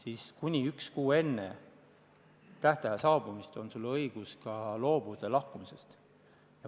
Ja kuni üks kuu enne tähtaja saabumist on õigus loobuda lahkumisest.